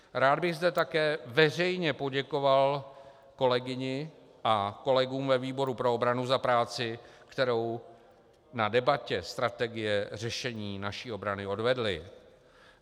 Rád bych zde také veřejně poděkoval kolegyni a kolegům ve výboru pro obranu za práci, kterou na debatě strategie řešení naší obrany odvedli.